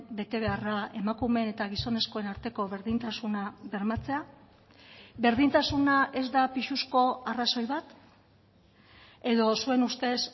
betebeharra emakumeen eta gizonezkoen arteko berdintasuna bermatzea berdintasuna ez da pisuzko arrazoi bat edo zuen ustez